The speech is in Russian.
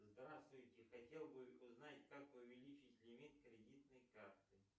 здравствуйте хотел бы узнать как увеличить лимит кредитной карты